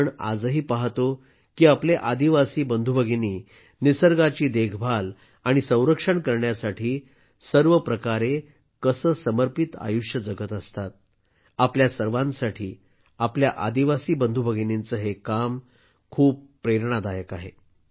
आपण आजही पाहतो की आपले आदिवासी बंधूभगिनी निसर्गाची देखभाल आणि संरक्षण करण्यासाठी सर्व प्रकारे कसे समर्पित आयुष्य जगत असतात आपल्या सर्वांसाठी आपल्या आदिवासी बंधूभगिनींचं हे काम खूप प्रेरणादायक आहे